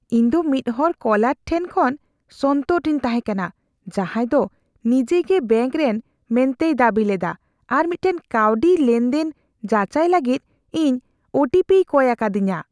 ᱤᱧ ᱫᱚ ᱢᱤᱫ ᱦᱚᱲ ᱠᱚᱞᱟᱨ ᱴᱷᱮᱱ ᱠᱷᱚᱱ ᱥᱚᱱᱛᱚᱨ ᱨᱤᱧ ᱛᱟᱦᱮᱸ ᱠᱟᱱᱟ ᱡᱟᱦᱟᱸᱭ ᱫᱚ ᱱᱤᱡᱮᱜᱮ ᱵᱮᱹᱝᱠ ᱨᱮᱱ ᱢᱮᱱᱛᱮᱭ ᱫᱟᱹᱵᱤ ᱞᱮᱫᱟ ᱟᱨ ᱢᱤᱫᱴᱟᱝ ᱠᱟᱹᱣᱰᱤ ᱞᱮᱱᱫᱮᱱ ᱡᱟᱪᱟᱭ ᱞᱟᱹᱜᱤᱫ ᱤᱧ ᱳ ᱴᱤ ᱯᱤᱭ ᱠᱚᱭ ᱟᱠᱟᱫᱤᱧᱟᱹ ᱾